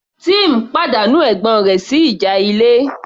Tim pàdánù ẹ̀gbọ́n rẹ̀ sí ìjà ilé